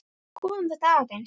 Skoðum þetta aðeins.